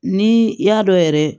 Ni y'a dɔn yɛrɛ